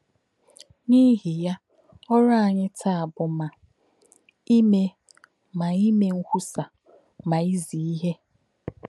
N’ihi ya, ọ̀rụ́ anyị taa bụ́ ma ime ma ime nkwúsa ma ízí íhè.